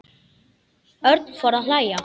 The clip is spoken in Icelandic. Örn fór að hlæja.